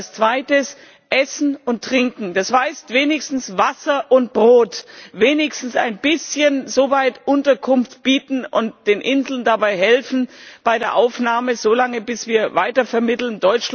Und als zweites Essen und Trinken, das heißt wenigstens Wasser und Brot, wenigstens ein bisschen Unterkunft bieten und den Inseln so lange bei der Aufnahme helfen, bis wir weitervermitteln.